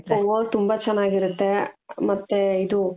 ಓ ತುಂಬಾ ಚೆನ್ನಾಗಿರುತ್ತೆ ಮತ್ತೆ ಇದು .